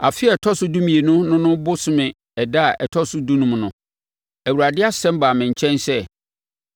Afe a ɛtɔ so dumienu no no bosome ɛda a ɛtɔ so dunum no, Awurade asɛm baa me nkyɛn sɛ: